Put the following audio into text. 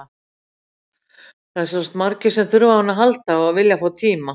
Það eru sjálfsagt margir sem þurfa á henni að halda og vilja fá tíma.